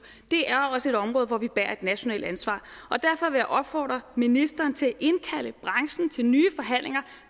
det er også et område hvor vi bærer et nationalt ansvar og derfor vil jeg opfordre ministeren til at indkalde branchen til nye forhandlinger